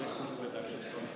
Andestust, me täpsustame!